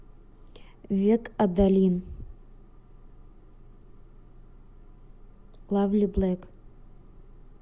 век адалин лайвли блейк